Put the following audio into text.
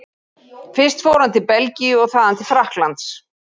Fyrst fór hann til Belgíu og þaðan til Frakklands.